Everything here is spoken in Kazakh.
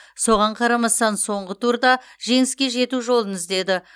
соған қарамастан соңғы турда жеңіске жету жолын іздеді